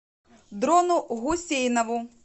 дрону гусейнову